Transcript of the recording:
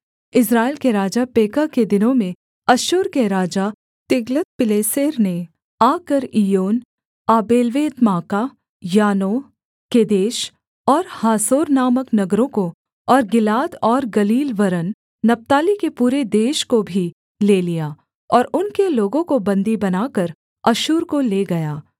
इस्राएल के राजा पेकह के दिनों में अश्शूर के राजा तिग्लत्पिलेसेर ने आकर इय्योन आबेल्वेत्माका यानोह केदेश और हासोर नामक नगरों को और गिलाद और गलील वरन् नप्ताली के पूरे देश को भी ले लिया और उनके लोगों को बन्दी बनाकर अश्शूर को ले गया